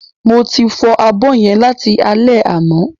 Mo ti fọ abọ́ yẹn láti alé àná